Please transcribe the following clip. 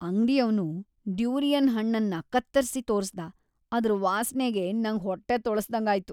ಅಂಗ್ಡಿಯವ್ನು durian ಹಣ್ಣನ್ನ ಕತ್ತರ್ಸಿ ತೋರ್ಸ್ದ‌, ಅದ್ರ್‌ ವಾಸ್ನೆಗೇ ನಂಗ್‌ ಹೊಟ್ಟೆ ತೊಳಸ್ದಂಗಾಯ್ತು.